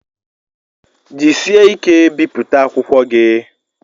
Jisie ike bipụta akwụkwọ gi!